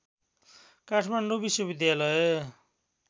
काठमाडौँ विश्वविद्यालय